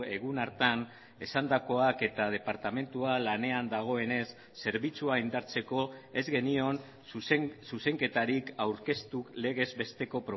egun hartan esandakoak eta departamentua lanean dagoenez zerbitzua indartzeko ez genion zuzenketarik aurkeztu legez besteko